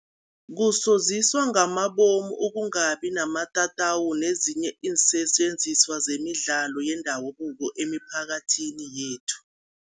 Kusoziswa ngamabomu ukungabi namatatawu nezinye iinsetjenziswa zemidlalo yendabuko emiphakathini yethu.